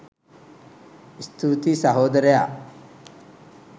ස්තුතියි සහෝදරයා